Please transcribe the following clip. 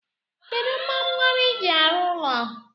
Kedu kpamkpam iji arụ ụlọ?